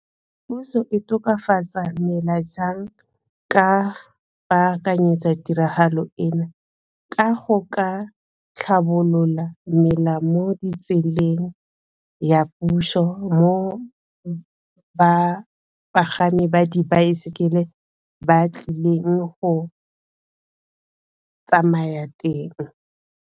Puso e tokafatsa mela jang ka baakanyetsa tiragalo eno, ka go ka tlhabolola mmela mo ditseleng ya puso mo bapagami ba dibaesekele ba tlileng go tsamaya teng.